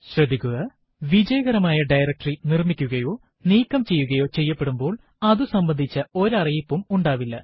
ശ്രദ്ധിക്കുക വിജയകരമായ ഡയറക്ടറി നിർമിക്കുകയോ നീക്കം ചെയ്യുകയോ ചെയ്യപെടുമ്പോൾ അതു അതുസംബന്ധിച്ച ഒരറിയിപ്പും ഉണ്ടാവില്ല